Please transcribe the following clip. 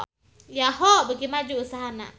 Yahoo! beuki maju usahana